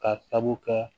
Ka sabu kɛ